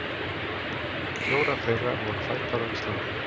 Fjórar þeirra voru fæddar á Íslandi.